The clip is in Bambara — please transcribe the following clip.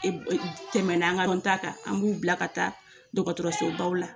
Tɛmɛ na an ka lɔn ta kan, an b'u bila ka taa dɔgɔtɔrɔsobaw la